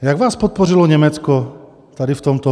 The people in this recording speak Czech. Jak vás podpořilo Německo tady v tomto?